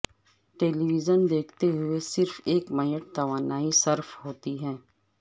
ٹیلی vision دیکھتے ہوئے صرف ایک میٹ توانائی صرف ہوتی ہے